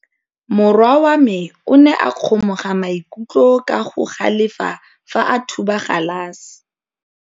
Morwa wa me o ne a kgomoga maikutlo ka go galefa fa a thuba galase.